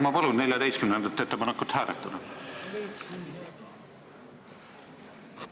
Ma palun 14. ettepanekut hääletada!